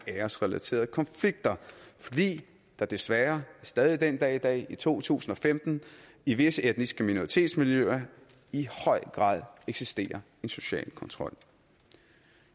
æresrelaterede konflikter fordi der desværre stadig den dag i dag i to tusind og femten i visse etniske minoritetsmiljøer i høj grad eksisterer en social kontrol